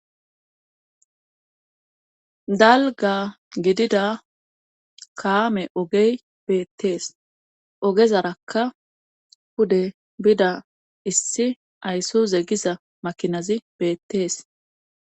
Dalga gidida kaame ogey beettees ogezarakka pude bida issi ayssu zegiza makinazi beettees.